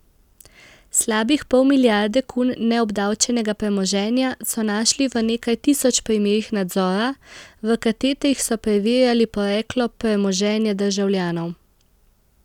Slabih pol milijarde kun neobdavčenega premoženja so našli v nekaj tisoč primerih nadzora, v katetrih so preverjali poreklo premoženja državljanov.